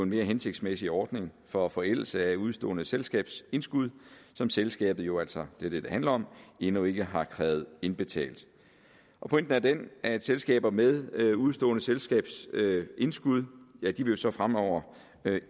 en mere hensigtsmæssig ordning for forældelse af udestående selskabsindskud som selskabet jo altså det er det det handler om endnu ikke har krævet indbetalt pointen er den at selskaber med udestående selskabsindskud jo så fremover